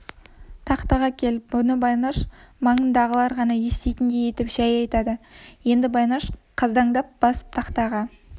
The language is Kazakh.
тақтаға кел мұны байнаш маңындағылар ғана еститіндей етіп жәй айтады енді байнаш қаздаңдап басып тақтаға